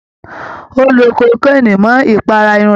Ó lo kokéènì mọ́ ìpara irun rẹ̀